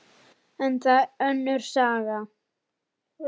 En það er önnur saga.